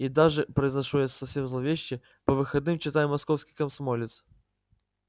и даже произношу я совсем зловеще по выходным читаю московский комсомолец